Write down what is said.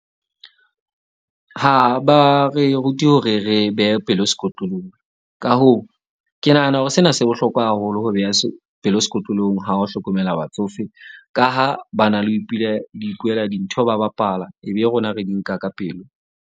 Ha ba re rute hore re behe pelo sekotlolong. Ka hoo, ke nahana hore sena se bohlokwa haholo ho beha pelo sekotlolong ha o hlokomela batsofe, ka ha ba na le ho ho ipuela dintho ba bapala. Ebe rona re di nka ka pelo.